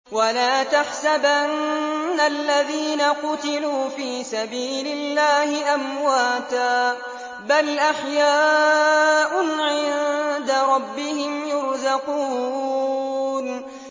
وَلَا تَحْسَبَنَّ الَّذِينَ قُتِلُوا فِي سَبِيلِ اللَّهِ أَمْوَاتًا ۚ بَلْ أَحْيَاءٌ عِندَ رَبِّهِمْ يُرْزَقُونَ